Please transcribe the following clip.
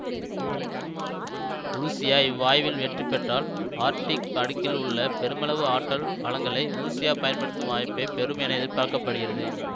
உருசியா இவ்வாய்வில் வெற்றி பெற்றால் ஆர்க்டிக் அடுக்கில் உள்ள பெருமளவு ஆற்றல் வளங்களை உருசியா பயன்படுத்தும் வாய்ப்பை பெறும் என எதிர்பார்க்க படுகிறது